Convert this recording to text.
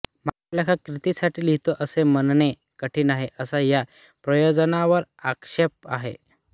मात्र लेखक कीर्तीसाठी लिहितो असे म्हणणे कठीण आहे असा या प्रयोजनावर आक्षेप आहे